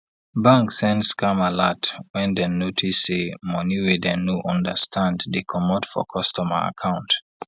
bank send scam alert wen den notice say money wey dem no understand dey commot for customer account